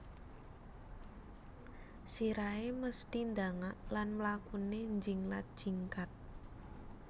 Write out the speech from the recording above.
Sirahé mesthi ndangak lan mlakuné njinglat jingkat